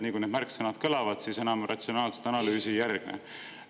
Kui need märksõnad kõlavad, siis enam ratsionaalset analüüsi ei järgne.